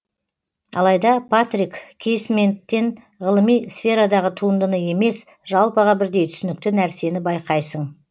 алайда патрик кейсменттен ғылыми сферадағы туындыны емес жалпыға бірдей түсінікті нәрсені байқайсың